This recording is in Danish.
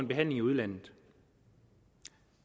behandling i udlandet